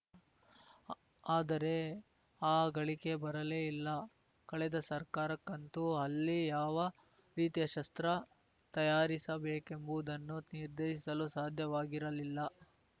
ಆದರೆ ಆ ಘಳಿಗೆ ಬರಲೇ ಇಲ್ಲ ಕಳೆದ ಸರ್ಕಾರಕ್ಕಂತೂ ಅಲ್ಲಿ ಯಾವ ರೀತಿಯ ಶಸ್ತ್ರ ತಯಾರಿಸಬೇಕೆಂಬುದನ್ನು ನಿರ್ಧರಿಸಲೂ ಸಾಧ್ಯವಾಗಿರಲಿಲ್ಲ